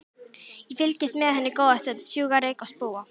Ég fylgist með henni góða stund, sjúga reyk og spúa.